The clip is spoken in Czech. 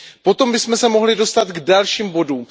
Potom bychom se mohli dostat k dalším bodům.